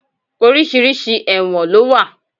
Oríṣiríṣi ẹ̀wọ̀n ló wà.